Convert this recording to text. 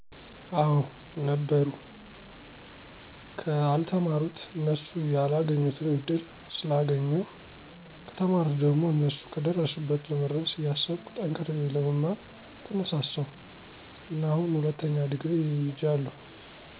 አወ ነበሩ። ከአልተማሩት እነሱ ያላገኙትን እድል ስላገኜሁ፣ ከተማሩት ደሞ እነሱ ከደረሱበት ለመድረስ እያሰብኩ ጠንክሬ ለመማር ተነሳሳሁ እና አሁን ሁለተኛ ዲግሪ ይጃለሁ።